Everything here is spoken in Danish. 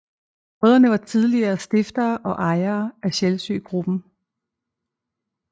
Brødrene var tidligere stiftere og ejere af Sjælsø Gruppen